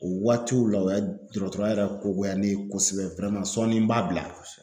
O waatiw la o ya dɔgɔtɔrɔya yɛrɛ ko goya ne ye kosɛbɛ sɔnni n b'a bila.